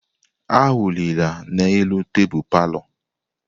Awụlila n'elu tebụl palọ!